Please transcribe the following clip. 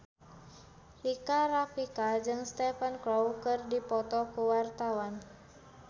Rika Rafika jeung Stephen Chow keur dipoto ku wartawan